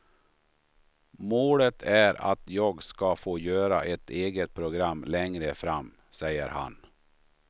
Målet är att jag ska få göra ett eget program längre fram, säger han.